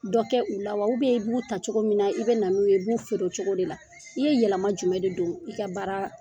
Dɔ kɛ u la wa? u b'u ta cogo min na i bɛ na n' u ye i b'u feere o cogo de la. I ye yɛlɛma jumɛn de don i ka baaraa